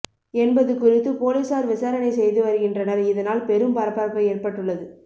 என்பது குறித்து போலீசார் விசாரணை செய்து வருகின்றனர் இதனால் பெரும் பரபரப்பு ஏற்பட்டுள்ளது